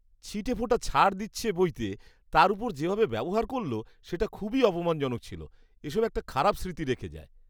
ছিটেফোঁটা ছাড় দিচ্ছে বইতে, তার ওপর যেভাবে ব্যবহার করল সেটা খুবই অপমানজনক ছিল। এসব একটা খারাপ স্মৃতি রেখে যায়।